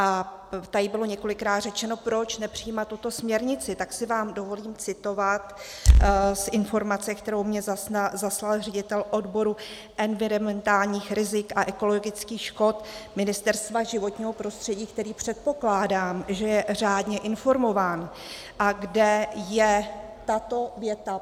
A tady bylo několikrát řečeno, proč nepřijímat tuto směrnici, tak si vám dovolím citovat z informace, kterou mně zaslal ředitel odboru environmentálních rizik a ekologických škod Ministerstva životního prostředí, který, předpokládám, že je řádně informován, a kde je tato věta.